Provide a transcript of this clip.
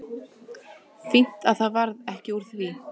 Fínt að það varð ekki úr því.